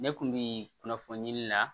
Ne kun bi kunnafoni la